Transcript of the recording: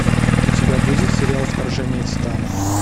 у тебя будет сериал вторжение титанов